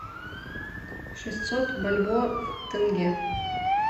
шестьсот бальбоа в тенге